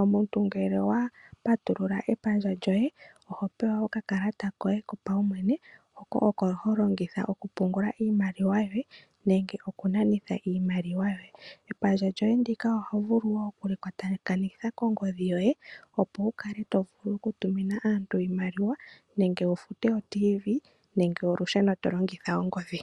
Omuntu ngele owapatulula epandja lyoye, oho pewa oka kalata koye kopaumwene, hono holongitha oku pungula iimaliwa yoye nenge oku nanitha iimaliwa yoye. Epandja lyoye ndika oho vulu wo oku li kwayakanitha kongodhi yoye, opo wu kale to vulu oku tumina aantu iimaliwa, nenge wu lande o tii-vii nenge olusheno to longitha ongodhi.